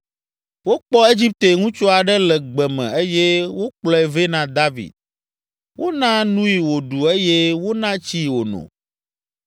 Wokpɔ Egipte ŋutsu aɖe le gbe me eye wokplɔe vɛ na David. Wona nui wòɖu eye wona tsii wòno.